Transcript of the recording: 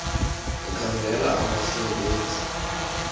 ekhangela abasebe nzi